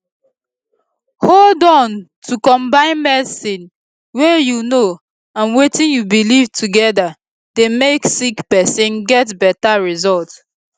hold on to combine medicine wey u know and wetin u belief together dey make sick pesin get beta result